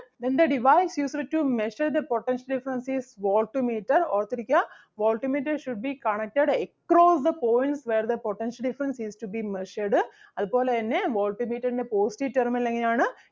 Then the device used to measure the potential difference is volt meter ഓർത്ത് ഇരിക്കുക Volt meter should be connected across the points where the potential difference is to be measured അതുപോലെ തന്നെ volt meter ൻ്റെ positive terminal എങ്ങനെ ആണ്?